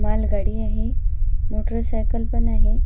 माल गाडी आहे मोटर सायकल पण आहे.